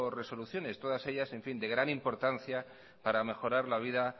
resoluciones todas ellas de gran importancia para mejorar la vida